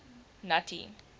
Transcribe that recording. nuttie